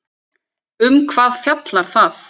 Um hvað fjallar það?